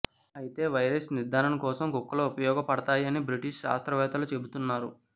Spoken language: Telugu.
అయితే వైరస్ నిర్ధారణ కోసం కుక్కలు ఉపయోగపడతాయని బ్రిటిష్ శాస్త్రవేత్తలు చెబుతున్నారు